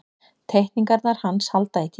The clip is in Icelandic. Teikningarnar hans halda í tímann.